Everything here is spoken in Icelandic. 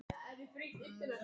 Þú stendur þig vel, Otri!